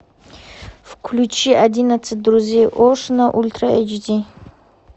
включи одиннадцать друзей оушена ультра эйч ди